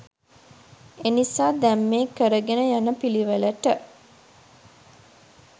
එනිසා දැන් මේ කරගෙන යන පිළිවෙලට